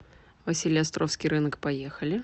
василеостровский рынок поехали